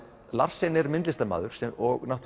Larsen er myndlistarmaður og